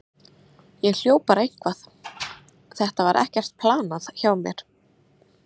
Ég hljóp bara eitthvað, þetta var ekkert planað hjá mér.